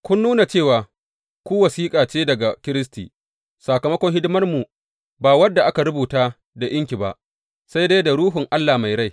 Kun nuna cewa ku wasiƙa ce daga Kiristi, sakamakon hidimarmu, ba wadda aka rubuta da inki ba, sai dai da Ruhun Allah mai rai.